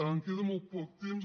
em queda molt poc temps